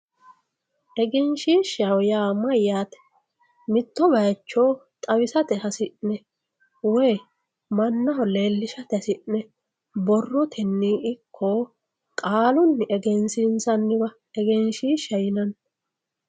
Eggenshshishshaho yaa mayate mito bayicho xawissate hasi'ne woyi manaho leellishate hasi'ne borrotenni ikko qaaluni eggeenisisanniwa eggeenshishaho yinanni